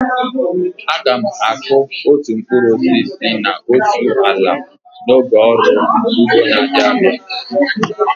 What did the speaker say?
Aga m akụ otu mkpụrụ osisi na otu ala n'oge ọrụ ugbo na-abịa.